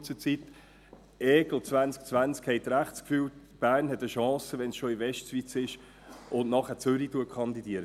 : Haben Sie wohl das Gefühl, Bern habe eine Chance, wenn es schon in der Westschweiz ist und auch Zürich kandidiert?